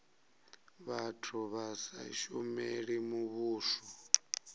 vhathu vha sa shumeli muvhuso